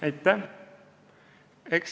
Aitäh!